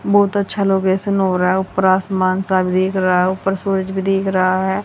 बहुत अच्छा लोकेशन हो रहा है ऊपर आसमान सा दिख रहा है ऊपर सूरज भी दिख रहा है।